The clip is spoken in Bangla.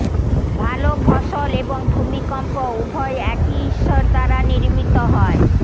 ভাল ফসল এবং ভূমিকম্প উভয় একই ঈশ্বর দ্বারা নির্মিত হয়